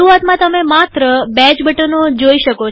શરૂઆતમાંતમે માત્ર આ બે જ બટનો જોઈ શકો છો